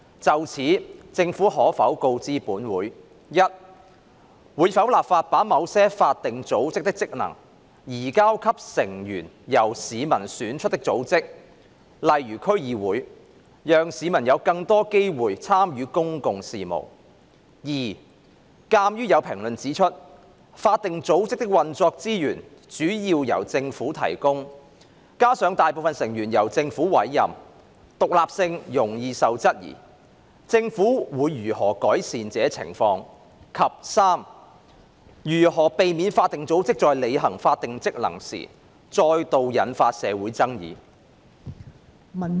就此，政府可否告知本會：一會否立法把某些法定組織的職能，移交給成員由市民選出的組織，讓市民有更多機會參與公共事務；二鑒於有評論指出，法定組織的運作資源主要由政府提供，加上大部分成員由政府委任，獨立性容易受質疑，政府會如何改善這情況；及三如何避免法定組織在履行法定職能時再度引發社會爭議？